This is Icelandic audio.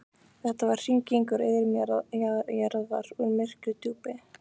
Þetta var hringing úr iðrum jarðar, úr myrku djúpi.